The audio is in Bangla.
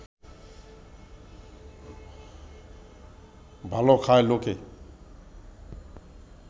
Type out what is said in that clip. ভালো খায় লোকে